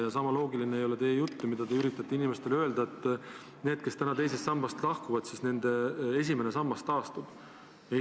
Ja samuti ei ole loogiline teie jutt, kui te üritate inimestele öelda, et nendel, kes teisest sambast lahkuvad, esimene sammas taastub.